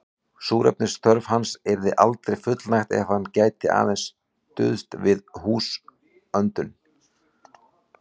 Súrefnisþörf hans yrði aldrei fullnægt er hann gæti aðeins stuðst við húðöndun.